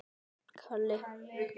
Hún geti vitjað grafar hans.